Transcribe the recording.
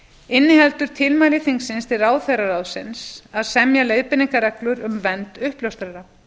inniheldur tilmæli þingsins til ráðherraráðsins að semja leiðbeiningarreglur um vernd uppljóstrara